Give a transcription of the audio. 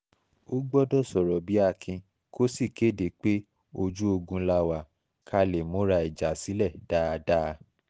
ó gbọ́dọ̀ sọ̀rọ̀ bíi akin kó sì kéde pé ojú ogun la wà ká lè múra ìjà sílẹ̀ dáadáa